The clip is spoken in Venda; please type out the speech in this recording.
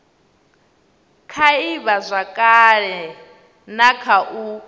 kha ivhazwakale na kha u